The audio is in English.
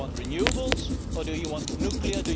Do you want renewables, or do you want nuclear?